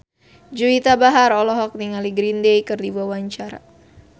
Juwita Bahar olohok ningali Green Day keur diwawancara